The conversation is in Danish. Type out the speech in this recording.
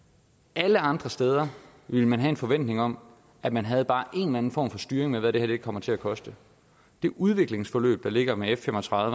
alle andre steder ville man have en forventning om at man havde bare en eller anden form for styring af hvad det kommer til at koste det udviklingsforløb der ligger med f fem og tredive